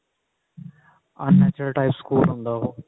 unnatural type school ਹੁੰਦਾ ਉਹ